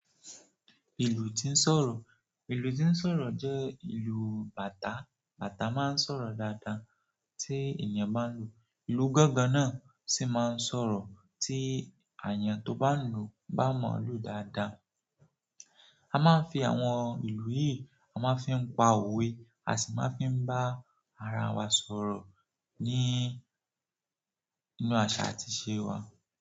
Ìlú tí ń sọ̀rọ̀. Ìlú tí ń sọ̀rọ̀ jẹ́ ìlú bàtà, bàtà máa ń sọ̀rọ̀ dáadáa tí èèyàn bá ń lu. Ìlú gangan náà sì máa ń sọ̀rọ̀ ti àyàn tó bá ń lu bá moo lu dáadáa. A máa ń fi àwọn ìlù yìí, a máa ń fi ń pa òwe, a sì máa ń fi bá ara wa sọ̀rọ̀ ní, nínú aṣa àti ìṣe wa.